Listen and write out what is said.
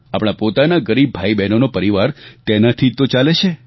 આપણા પોતાના ગરીબ ભાઈબહેનોનો પરિવાર તેનાથી જ તો ચાલે છે